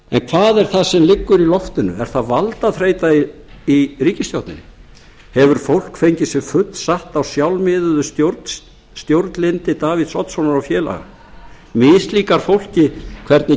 hvað er það sem liggur í loftinu er það valdþreytan í ríkisstjórninni hefur fólk fengið sig fullsatt á sjálfmiðuðu stjórnlyndi davíðs oddssonar og félaga mislíkar fólki hvernig